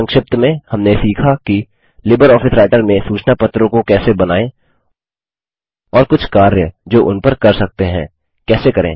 संक्षिप्त में हमने सीखा कि लिबर ऑफिस राइटर में सूचना पत्रों को कैसे बनाएँ और कुछ कार्य जो उन पर कर सकते हैं कैसे करें